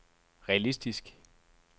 realistisk